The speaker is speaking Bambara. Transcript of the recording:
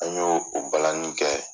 An y'o o balani kɛ.